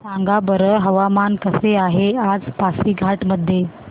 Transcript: सांगा बरं हवामान कसे आहे आज पासीघाट मध्ये